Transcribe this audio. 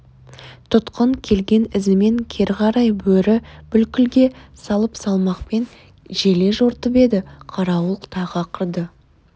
тұтқын келген ізімен кері қарай бөрі бүлкілге салып салмақпен желе жортып еді қарауыл тағы ақырды